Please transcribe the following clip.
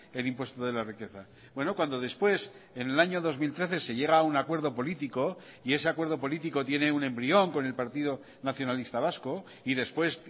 el impuesto de la riqueza bueno cuando después en el año dos mil trece se llega a un acuerdo político y ese acuerdo político tiene un embrión con el partido nacionalista vasco y después